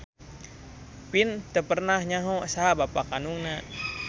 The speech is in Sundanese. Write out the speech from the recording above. Vin teu pernah nyaho saha bapa kandungna.